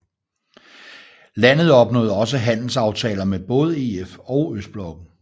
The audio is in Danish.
Landet opnåede også handelsaftaler med både EF og Østblokken